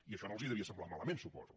i això no els devia semblar malament suposo